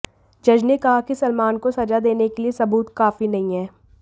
जज ने कहा कि सलमान को सजा देने के लिए सबूत काफी नहीं हैं